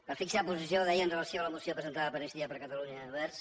per fixar la posició deia amb relació a la moció presentada per iniciativa per catalunya verds